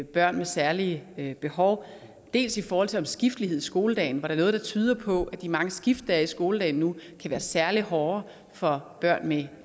børn med særlige behov dels i forhold til omskiftelighed i skoledagen hvor der er noget der tyder på at de mange skift der er i skoledagen nu kan være særlig hårde for børn med